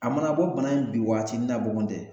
A mana bɔ bana in bi waatinin na bɔgɔn dɛ